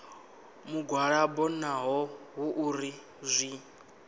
mugwalabo naho hu uri zwi